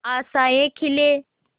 आशाएं खिले